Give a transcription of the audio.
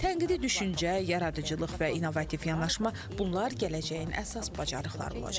Tənqidi düşüncə, yaradıcılıq və innovativ yanaşma, bunlar gələcəyin əsas bacarıqları olacaq.